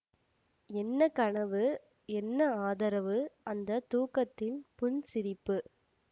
என்ன கனவு என்ன ஆதரவு அந்த தூக்கத்தின் புன் சிரிப்பு